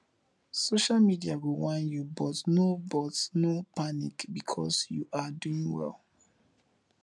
social media go whine yu but no but no panic bikos yu ar doing wel